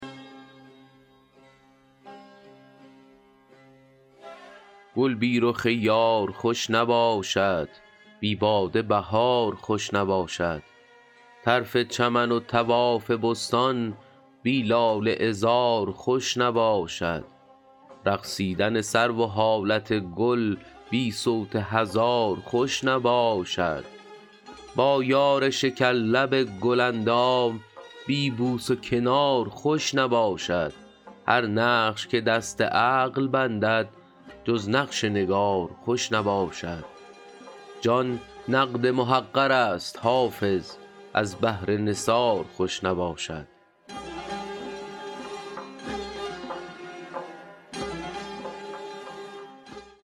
گل بی رخ یار خوش نباشد بی باده بهار خوش نباشد طرف چمن و طواف بستان بی لاله عذار خوش نباشد رقصیدن سرو و حالت گل بی صوت هزار خوش نباشد با یار شکرلب گل اندام بی بوس و کنار خوش نباشد هر نقش که دست عقل بندد جز نقش نگار خوش نباشد جان نقد محقر است حافظ از بهر نثار خوش نباشد